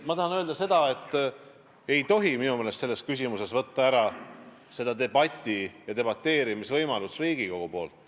Ma tahan öelda, et minu meelest ei tohi selles küsimuses Riigikogult võtta ära debateerimisvõimalust.